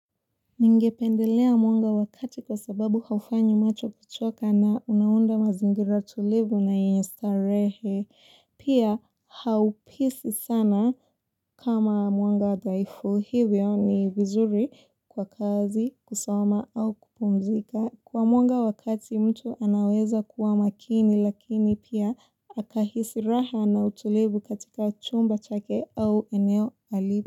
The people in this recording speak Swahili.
Ningependelea mwanga wakati kwa sababu haufanyi macho kuchoka na unaunda mazingira tulivu na yenye starehe. Pia haupisi sana kama mwanga daifu. Hivyo ni vizuri kwa kazi kusoma au kupumzika. Kwa mwanga wa kati mtu anaweza kuwa makini lakini pia akahisi raha na utulivu katika chumba chake au eneo alipo.